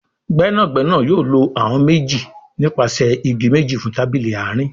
Gbẹ́nàgbẹ́nà yóò ló àwọn méjì nípasẹ ìgi méjì fún tábìlì àárín